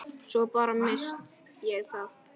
Svo bara. missti ég það.